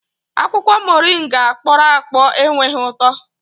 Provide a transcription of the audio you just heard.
Akwụkwọ Moringa kpọrọ akpọ enweghị ụtọ